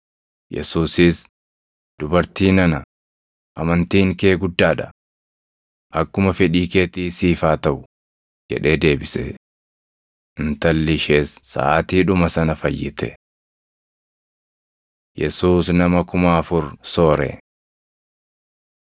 Yesuusis, “Dubartii nana, amantiin kee guddaa dha! Akkuma fedhii keetii siif haa taʼu” jedhee deebise. Intalli ishees saʼaatiidhuma sana fayyite. Yesuus Nama Kuma Afur Soore 15:29‑31 kwf – Mar 7:31‑37 15:32‑39 kwf – Mar 8:1‑10 15:32‑39 kwi – Mat 14:13‑21